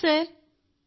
thank you sir